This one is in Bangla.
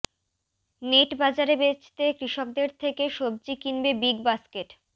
নেট বাজারে বেচতে কৃষকদের থেকে সব্জি কিনবে বিগ বাস্কেট